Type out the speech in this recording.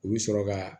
U bɛ sɔrɔ ka